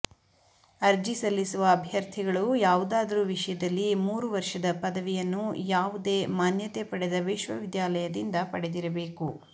ಅರ್ಜಿ ಸಲ್ಲಿಸುವ ಅಭ್ಯರ್ಥಿಗಳು ಯಾವುದಾದದರೂ ವಿಷಯದಲ್ಲಿ ಮೂರು ವರ್ಷದ ಪದವಿಯನ್ನು ಯಾವುದೇ ಮಾನ್ಯತೆ ಪಡೆದ ವಿಶ್ವವಿದ್ಯಾಲಯದಿಂದ ಪಡೆದಿರಬೇಕು